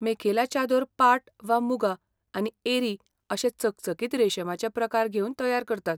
मेखेला चादोर पाट वा मुगा आनी एरी अशे चकचकीत रेशमाचे प्रकार घेवन तयार करतात.